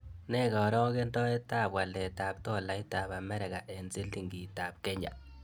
Nee karogenetap waletap tolaitap amerika eng' silingiitap kenya